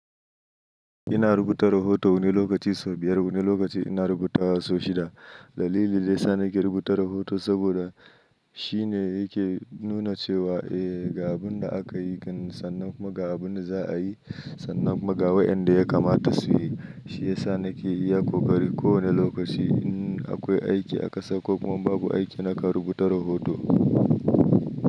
Ina rubuta rahoto wani lokaci sau biyar, wani lokaci ina rubuta wa sau shida. Dalili daya sa na ke rubuta rahoto saboda shi shine yake nuna cewa, eh, ga abin da aka yi, sannan kuma ga abin da za a yi, sannan kuma ga waɗanda ya kamata su yi. Shi ya sa nake iya kokari kowane lokaci in akwai aiki a ƙasa ko kuma in babu aiki na kan rubuta rahoto.